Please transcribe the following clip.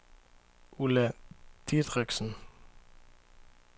Ulla Dideriksen